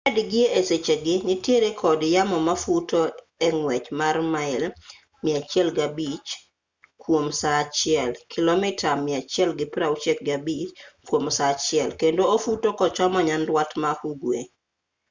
fred gi e sechegi nitiere kod yamo mafuto e ng'wech mar mail 105 kwom saa achiel kilomita 165 kwom saa achiel kendo ofuto kochomo nyandwat ma ugwe